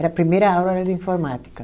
Era a primeira aula era de informática.